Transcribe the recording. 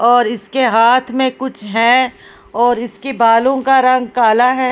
और इसके हाथ में कुछ है और इसके बालों का रंग काला है ।